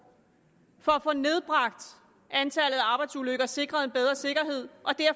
for at få nedbragt antallet af arbejdsulykker og sikret en bedre sikkerhed